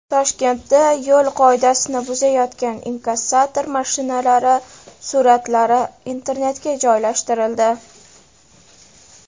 Toshkentda yo‘l qoidasini buzayotgan inkassator mashinalari suratlari internetga joylashtirildi.